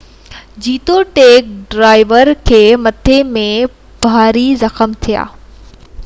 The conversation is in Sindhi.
جيتوڻيڪ ڊرائيور کي مٿي ۾ ڀاري زخم ٿيا